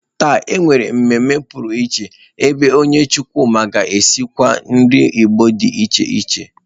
Taa, e nwere mmemme pụrụiche ebe onye chukwuma ga-esikwa nri Igbo dị iche iche